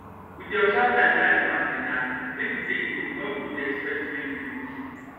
we dey observe time wey animals dey knack make we take know wen we go dey expect baby goat